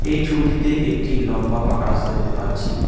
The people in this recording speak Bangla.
এই ছবিটিতে একটি লম্বা পাকা রাস্তা দেখতে পাচ্ছি।